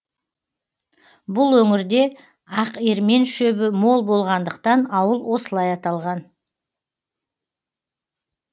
бұл өңірде ақермен шөбі мол болғандықтан ауыл осылай аталған